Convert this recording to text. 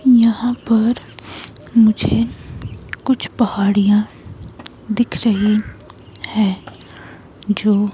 यहाँ पर मुझे कुछ पहाड़ियां दिख रही हैजो--